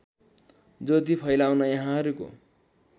ज्योति फैल्याउन यहाँहरूको